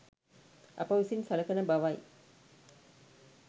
අප විසින් සලකන බවයි.